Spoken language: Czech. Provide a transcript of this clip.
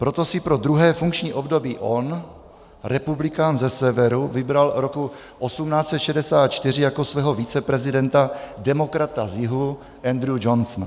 Proto si pro druhé funkční období on, republikán ze Severu, vybral roku 1864 jako svého viceprezidenta demokrata z Jihu Andrewa Johnsona.